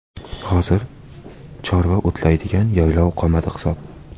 Hozir chorva o‘tlaydigan yaylov qolmadi hisob.